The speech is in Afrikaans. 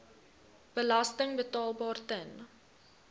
belasting betaalbaar ten